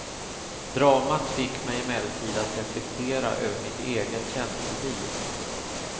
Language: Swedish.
Dramat fick mig emellertid att reflektera över mitt eget känsloliv.